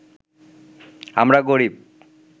আমরা গরিব